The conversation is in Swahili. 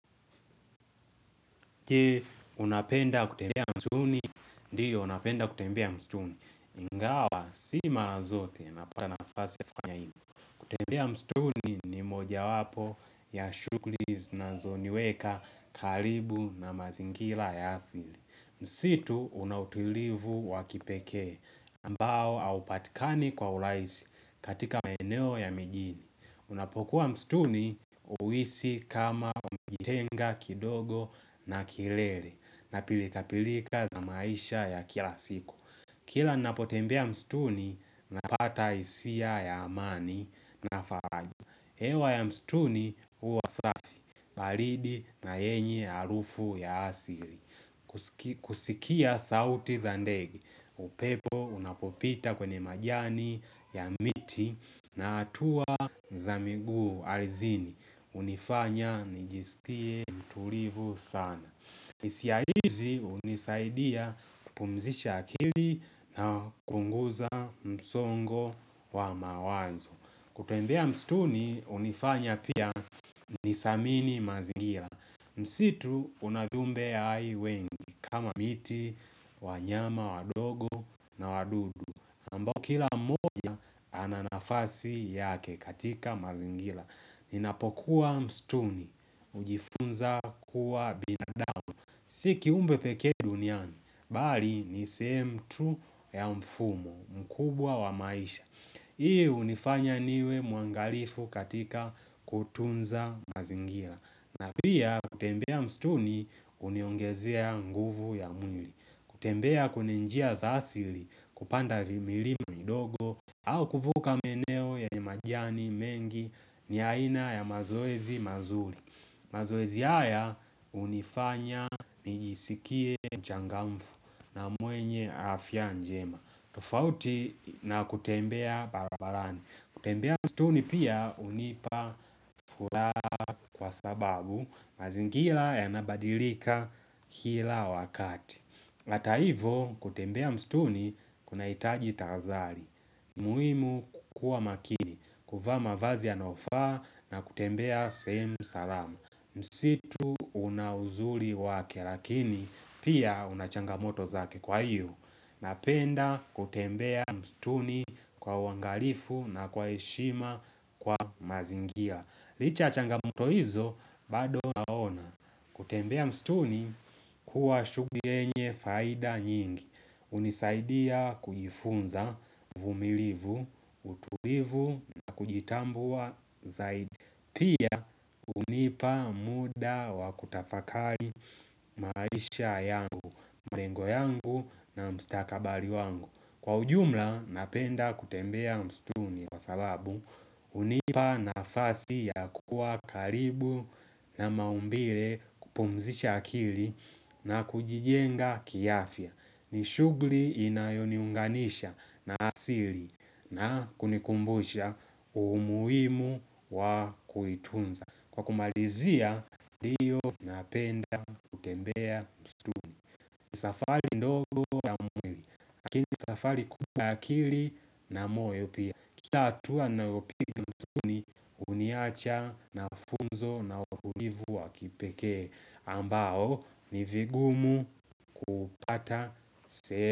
Je, unapenda kutembea msituni? Ndiyo, napenda kutembea msituni. Ingawa si mara zote, napata nafasi ya kufanya hivyo, kutembea msituni ni mojawapo ya shughuli zinazoniweka karibu na mazingira ya asili. Msitu unautilivu wa kipekee. Ambao haupatikani kwa urahisi katika maeneo ya mijini unapokuwa msituni, huhisi kama umejitenga kidogo na kelele na pilikapilika za maisha ya kila siku. Kila ninapotembea msituni, napata hisia ya amani na faraja. Hewa ya msituni huwa safi, baridi na yenye harufu ya asili. Kusikia sauti za ndege. Upepo unapopita kwenye majani ya miti na hatua za miguu ardhini. Hunifanya nijisikie mtulivu sana. Hisia hizi hunisaidia kupumzisha akili na kuunguza msongo wa mawazo. Kutembea msituni hunifanya pia nisiamini mazingira. Msitu una viumbe ya hai wengi kama miti, wanyama wadogo na wadudu ambao kila mmoja ana nafasi yake katika mazingira. Ninapokuwa mstuni, hujifunza kuwa binadamu si kiumbe pekee duniani, bali ni sehemu tu ya mfumo mkubwa wa maisha. Hii unifanya niwe muangalifu katika kutunza mazingira. Na pia kutembea msituni huniongezea nguvu ya mwili. Kutembea kwenye njia za asili, kupanda vimilima midogo au kuvuka maeneo yenye majani mengi ni aina ya mazoezi mazuri. Mazoezi haya unifanya nijisikie mchangamfu na mwenye afya njema. Tofauti na kutembea barabarani. Kutembea msituni pia hunipa furaha kwa sababu mazingira yanabadilika kila wakati. Hata hivyo kutembea msituni kunahitaji tahazali. Muhimu kukua makini, kuvaa mavazi yanayofaa na kutembea sehemu salama. Msitu unauzuri wake lakini pia unachanga moto zake. Kwa hiyo napenda kutembea mstuni kwa uwangalifu na kwa heshima kwa mazingira. Licha ya changamoto hizo, bado naona kutembea msituni huwa shuguli yenye faida nyingi. Unisaidia kujifunza, uvumilivu, utulivu na kujitambua zaidi unipa muda wa kutafakari maisha yangu, mrengo yangu na mstakabali wangu. Kwa ujumla napenda kutembea msituni kwa sababu unipa nafasi ya kuwa karibu na maumbile kupumzisha akili na kujijenga kiafya. Ni shughuli inayoniunganisha na asili na kunikumbusha umuhimu wa kuitunza. Kwa kumalizia, ndiyo napenda kutembea msituni. Ni safari ndogo ya mwili lakini safari kubwa ya akili na moyo pia. Kila atua ninayopiga msituni huniacha na funzo na utulivu wa kipekee ambao ni vigumu kupata.